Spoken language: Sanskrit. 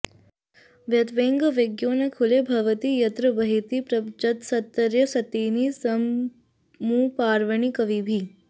वयत्वेवं विद्मो न खलु भवती यत्र वहति प्रपञ्चस्तत्रत्यस्तटिनिसमुपावर्णि कविभिः